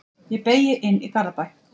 Ég beygi inn í Garðabæ.